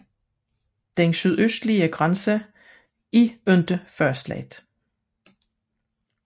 Den sydøstlige grænse er derimod ikke fastsat